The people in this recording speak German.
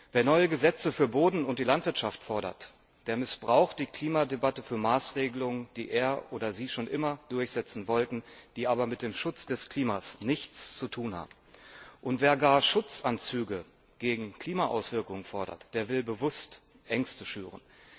Wer neue Gesetze für den Boden und die Landwirtschaft fordert, der missbraucht die Klimadebatte für Maßregelungen, die er oder sie schon immer durchsetzen wollte, die aber mit dem Schutz des Klimas nichts zu tun haben. Und wer gar Schutzanzüge gegen Klimaauswirkungen fordert, der will bewusst Ängste schüren.